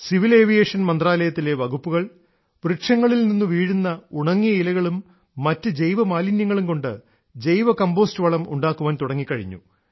civil വ്യോമയാന മന്ത്രാലയത്തിലെ വകുപ്പുകൾ വൃക്ഷങ്ങളിൽ നിന്നും വീഴുന്ന ഉണങ്ങിയ ഇലകളും മറ്റുജൈവ മാലിന്യങ്ങളുംകൊണ്ട് ജൈവകംമ്പോസ്റ്റ് വളം ഉണ്ടാക്കാൻ തുടങ്ങിക്കഴിഞ്ഞു